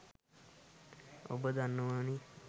ඔබ දන්නවානේ.